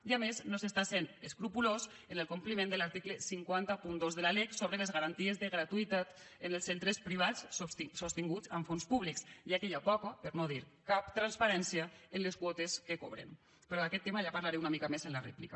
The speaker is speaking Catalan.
i a més no s’està sent escrupolós en el compliment de l’article cinc cents i dos de la lec sobre les garanties de gratuïtat en els centres privats sostinguts amb fons públics ja que hi ha poca per no dir cap transparència en les quotes que cobren però d’aquest tema ja en parlaré una mica més en la rèplica